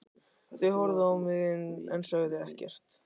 Þau horfðu á mig en sögðu ekkert.